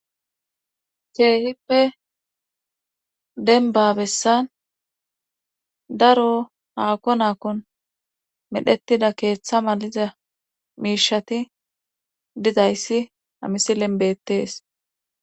ceehippe denbabessan daro haako naakon medhetida keeththa maliza miishati dizayssi amisi lenbettees